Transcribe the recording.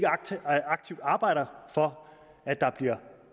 aktivt arbejder for at der bliver